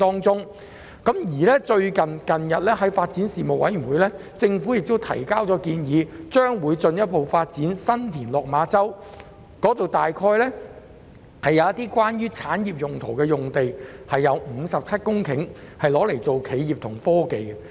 最近，政府向發展事務委員會提交建議，表示會進一步發展新田/落馬洲，當中會有產業用地，包括57公頃企業及科技用地。